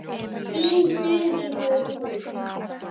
Þín Þuríður Rún.